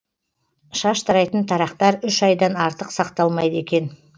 шаш тарайтын тарақтар үш айдан артық сақталмайды екен